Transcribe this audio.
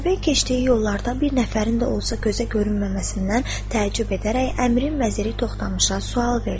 Atabəy keçdiyi yollarda bir nəfərin də olsa gözə görünməməsindən təəccüb edərək əmirin vəziri Toxtamışa sual verdi.